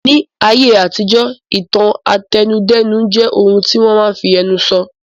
Ní ayé àtijọ́, ìtàn àtẹnudẹ́nu jẹ́ ohun tí wọ́n máa n fi ẹnu sọ